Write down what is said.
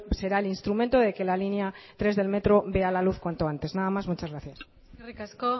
será el instrumento de que la línea tres del metro vea la luz cuanto antes nada más muchas gracias eskerrik asko